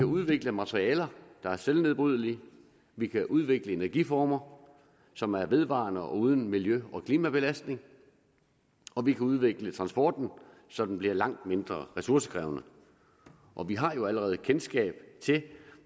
udvikle materialer der er selvnedbrydelige vi kan udvikle energiformer som er vedvarende og uden miljø og klimabelastning og vi kan udvikle transporten så den bliver langt mindre ressourcekrævende og vi har jo allerede kendskab til